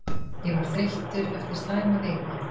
Ég var þreyttur eftir slæma viku.